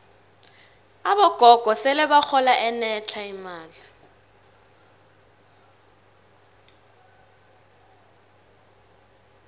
abogogo sele bahola enetlha imali